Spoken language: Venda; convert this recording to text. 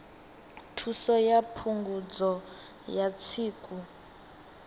thuso ya phungudzo ya tsiku